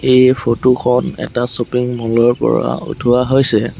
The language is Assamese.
এই ফটো খন এটা শ্বপিং মল ৰ পৰা উঠোঁৱা হৈছে।